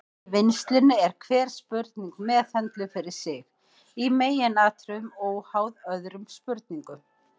Í vinnslunni er hver spurning meðhöndluð fyrir sig, í meginatriðum óháð öðrum spurningum.